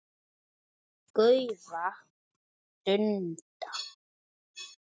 gaufa, dunda.